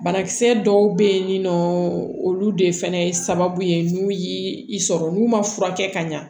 Banakisɛ dɔw bɛ yen nɔ olu de fana ye sababu ye n'u y'i i sɔrɔ n'u ma furakɛ ka ɲa